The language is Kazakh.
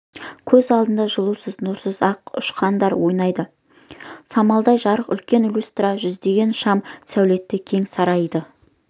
көз алдында жылусыз нұрсыз ақ ұшқындар ойнайды самаладай жарық үлкен люстра жүздеген шам сәулетті кең сарайды